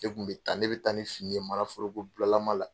E kun be taa ne be taa ni fini ye mana foroko bulalama la.